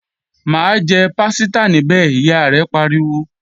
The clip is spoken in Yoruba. Má jẹ pásítà níbẹ̀, Ìyá rẹ̀ pariwo!